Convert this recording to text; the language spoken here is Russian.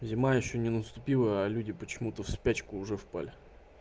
зима ещё не наступила а люди почему-то в спячку уже впали